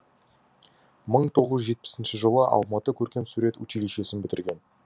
мың тоғыз жүз жетпісінші жылы алматы көркемсурет училищесін бітірген